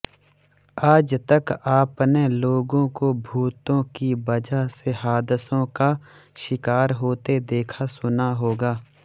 आजतक आपने लोगों को भूतों की वजह से हादसों का शिकार होते देखा सुना होगा